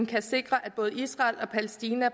kan sikre at både israel og palæstina